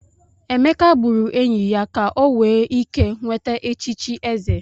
Emeka gburu enyi ya ka o wee ike nweta echichi eze.